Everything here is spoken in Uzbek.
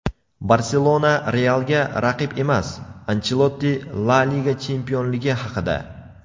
"Barselona" "Real"ga raqib emas – Anchelotti La liga chempionligi haqida.